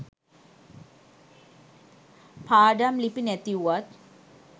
පාඩම් ලිපි නැති වුවත්